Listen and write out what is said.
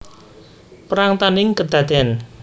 Perang tandhing kadadèn